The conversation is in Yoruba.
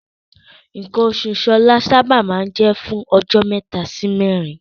Nǹkan oṣù Ṣọlá sábà máa ń jẹ́ fún ọjọ́ mẹ́ta sí mẹ́rin.